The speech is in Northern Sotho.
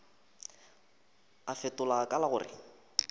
a fetola ka la gore